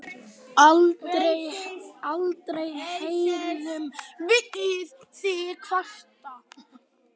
Aldrei heyrðum við þig kvarta.